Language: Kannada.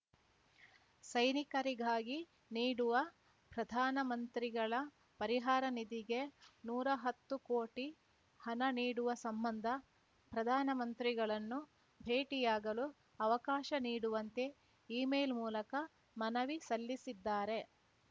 ಸೈನಿಕರಿಗಾಗಿ ನೀಡುವ ಪ್ರಧಾನಮಂತ್ರಿಗಳ ಪರಿಹಾರ ನಿಧಿಗೆ ನೂರಾ ಹತ್ತು ಕೋಟಿ ಹಣ ನೀಡುವ ಸಂಬಂಧ ಪ್ರಧಾನಮಂತ್ರಿಗಳನ್ನು ಭೇಟಿಯಾಗಲು ಅವಕಾಶ ನೀಡುವಂತೆ ಇಮೇಲ್ ಮೂಲಕ ಮನವಿ ಸಲ್ಲಿಸಿದ್ದಾರೆ